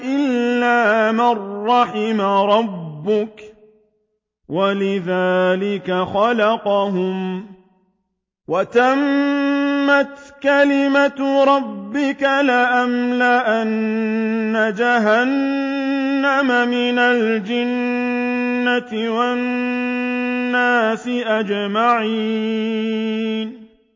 إِلَّا مَن رَّحِمَ رَبُّكَ ۚ وَلِذَٰلِكَ خَلَقَهُمْ ۗ وَتَمَّتْ كَلِمَةُ رَبِّكَ لَأَمْلَأَنَّ جَهَنَّمَ مِنَ الْجِنَّةِ وَالنَّاسِ أَجْمَعِينَ